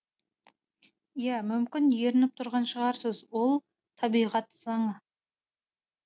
ия мүмкін ерініп тұрған шығарсыз ол табиғат заңы